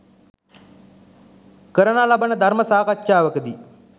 කරනා ලබන ධර්ම සාකච්ඡාවකදී